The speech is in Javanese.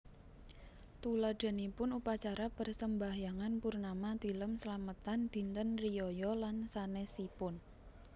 Tuladhanipun Upacara Persembahyangan Purnama Tilem slametan Dinten riyaya lan sanésipun